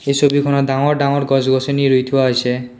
এই ছবিখনত ডাঙৰ ডাঙৰ গছ-গছনি ৰুই থোৱা হৈছে।